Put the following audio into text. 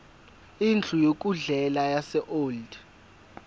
indlu yokudlela yaseold